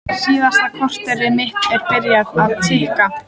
Síðasta korterið mitt er byrjað að tikka.